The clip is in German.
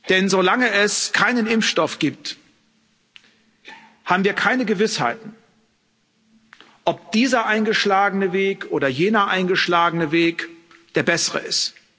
Denn solange es keinen Impfstoff gibt, haben wir keine Gewissheiten ob dieser eingeschlagene Weg oder jener eingeschlagene Weg der bessere ist.